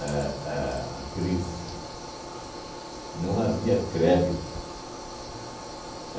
a a a crise, não havia crédito.